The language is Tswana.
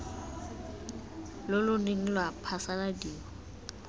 lo lo neng lwa phasaladiwa